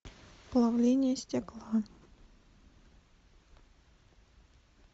плавление стекла